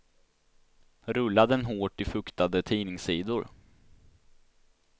Rulla den hårt i fuktade tidningssidor.